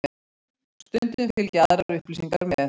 Stundum fylgja aðrar upplýsingar með.